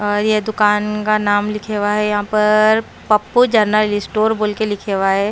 और ये दुकान का नाम लिखे हुआ है यहां पर पप्पू जनरल स्टोर बोल के लिखे हुआ है।